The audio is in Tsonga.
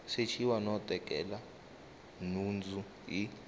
sechiwa no tekela nhundzu hi